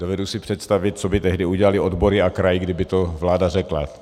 Dovedu si představit, co by tehdy udělaly odbory a kraj, kdyby to vláda řekla.